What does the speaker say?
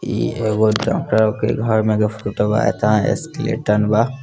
इ एगो डॉक्टर के घर में एगो बा |